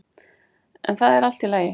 En það er allt í lagi.